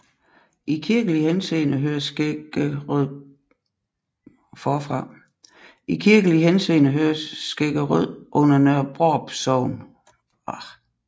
I kirkelig henseende hører Skæggerød under Nørre Brarup Sogn